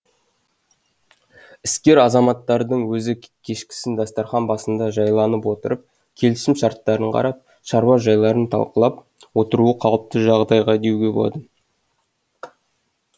іскер азаматтардың өзі кешкісін дастархан басында жайланып отырып келісім шарттарын қарап шаруа жайларын талқылап отыруы қалыпты жағдай деуге болады